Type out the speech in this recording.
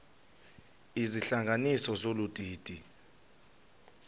izihlanganisi zolu didi